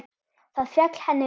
Það féll henni vel.